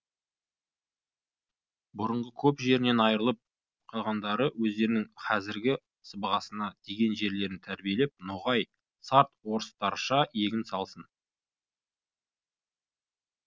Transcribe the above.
бұрынғы көп жерінен айрылып қалғандары өздерінің һәзіргі сыбағасына тиген жерлерін тәрбиелеп ноғай сарт орыстарша егін салсын